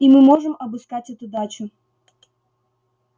и мы можем обыскать эту дачу